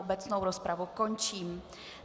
Obecnou rozpravu končím.